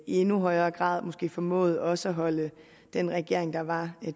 i endnu højere grad måske havde formået også at holde den regering der var